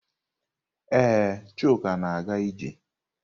Ee, Chuka na-aga ije.